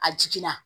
A jiginna